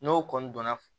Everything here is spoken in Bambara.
N'o kɔni donna